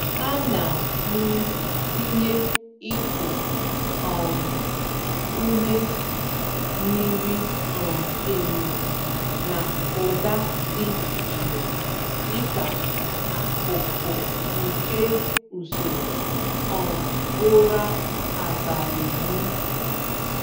Ana m tinye iku um ume miri um emi na ụda dị jụụ dịka akụkụ nke usoro um ụra abalị m.